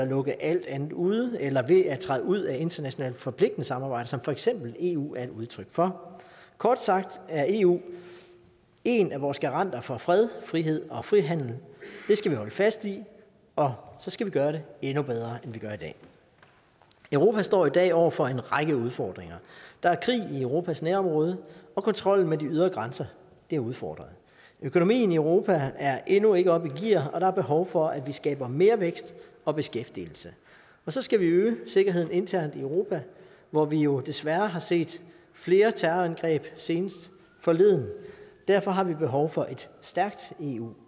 lukker alt andet ude eller ved at vi træder ud af internationalt forpligtende samarbejder som for eksempel eu er et udtryk for kort sagt er eu en af vores garanter for fred frihed og frihandel det skal vi holde fast i og så skal vi gøre det endnu bedre end vi gør i dag europa står i dag over for en række udfordringer der er krig i europas nærområde og kontrollen med de ydre grænser er udfordret økonomien i europa er endnu ikke oppe i gear og der er behov for at vi skaber mere vækst og beskæftigelse og så skal vi øge sikkerheden internt i europa hvor vi jo desværre har set flere terrorangreb senest forleden derfor har vi også behov for et stærkt eu